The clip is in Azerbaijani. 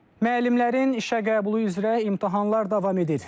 Müəllimlərin işə qəbulu üzrə imtahanlar davam edir.